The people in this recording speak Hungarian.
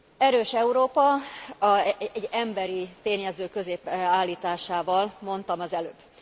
Erős Európa, egy emberi tényező középbe állításával mondtam az előbb.